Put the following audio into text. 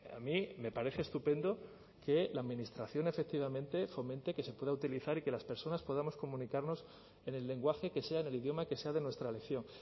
a mí me parece estupendo que la administración efectivamente fomente que se pueda utilizar y que las personas podamos comunicarnos en el lenguaje que sea en el idioma que sea de nuestra elección